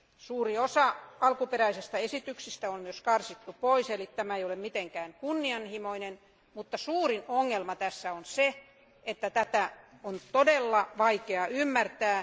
Suuri osa alkuperäisistä esityksistä on karsittu pois eli tämä ei ole mitenkään kunnianhimoinen, mutta suurin ongelma tässä on se, että tätä on todella vaikea ymmärtää.